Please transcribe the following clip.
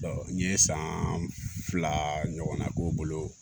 n ye san fila ɲɔgɔnna k'o bolo